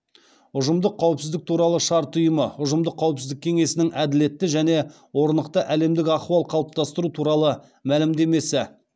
ұжымдық қауіпсіздік туралы шарт ұйымы ұжымдық қауіпсіздік кеңесінің әділетті және орнықты әлемдік ахуал қалыптастыру туралы мәлімдемесі